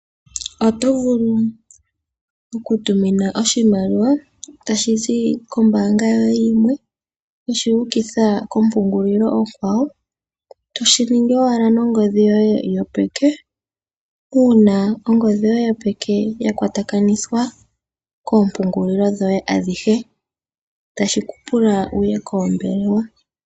Oto vulu oku tumina oshimaliwa, tashi zi koombaanga yoye yimwe, weshi ukitha ko mpungulilo onkwawo, toshi ningi owala nongodhi yoye yopeke, uuna ongodhi yoye yopeke ya kwatakanithwa koompungulilo dhoye adhihe.